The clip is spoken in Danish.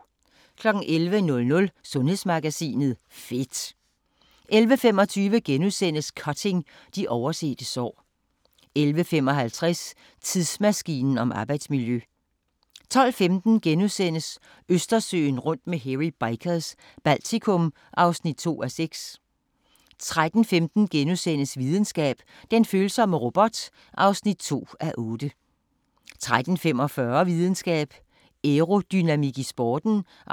11:00: Sundhedsmagasinet: Fedt 11:25: Cutting – de oversete sår * 11:55: Tidsmaskinen om arbejdsmiljø 12:15: Østersøen rundt med Hairy Bikers – Baltikum (2:6)* 13:15: Videnskab: Den følsomme robot (2:8)* 13:45: Videnskab: Aerodynamik i sporten (3:8) 14:15: